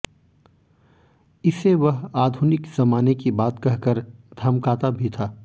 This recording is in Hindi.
इसे वह आधुनिक जमाने की बात कह कर धमकाता भी था